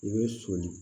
I bɛ soli